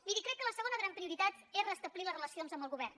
miri crec que la segona gran prioritat és restablir les relacions amb el govern